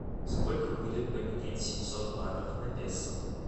сколько будет поменять семьсот батов на песо